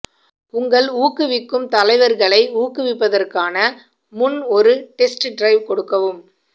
உங்கள் ஊக்குவிக்கும் தலைவர்களை ஊக்குவிப்பதற்கான முன் ஒரு டெஸ்ட் டிரைவ் கொடுக்கவும்